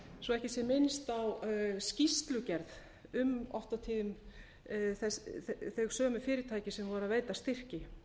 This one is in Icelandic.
svo ekki sé minnst á skýrslugerð um oft og tíðum þau sömu fyrirtæki sem voru að veita styrki